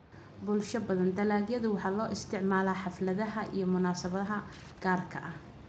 Bulsho badan, dalagyada waxaa loo isticmaalaa xafladaha iyo munaasabadaha gaarka ah.